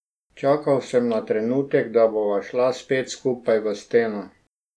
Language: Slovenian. Čakal sem na trenutek, da bova šla spet skupaj v steno.